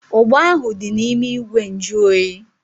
Ugba ahu dị n'ime ìgwè nju oyi